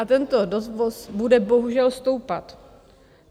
A tento dovoz bude bohužel stoupat.